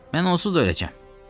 Mən onsuz da öləcəm.